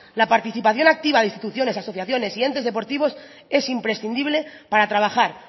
la participación activa de instituciones asociaciones y entes deportivos es imprescindible para trabajar